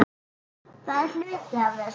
Það er hluti af þessu.